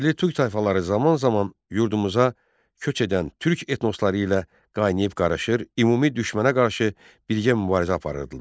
Yerli türk tayfaları zaman-zaman yurdumuza köç edən türk etnosları ilə qaynayıb-qarışır, ümumi düşmənə qarşı birgə mübarizə aparırdılar.